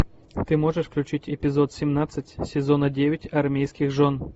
ты можешь включить эпизод семнадцать сезона девять армейских жен